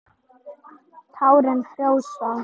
Tárin frjósa.